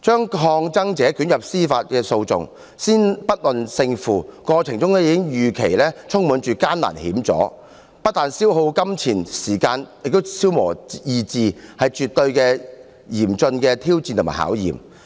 把抗爭者捲入司法訴訟，先不論勝負，過程已預期充滿艱難險阻，不但消耗金錢和時間，也消磨意志，是絕對嚴峻的挑戰和考驗。